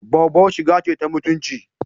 Boubou shiga ce ta mutunci.